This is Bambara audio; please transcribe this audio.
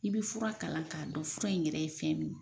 I bi fura kalan k'a dɔn fura in yɛrɛ ye fɛn min ye.